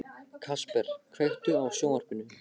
Kasper, kveiktu á sjónvarpinu.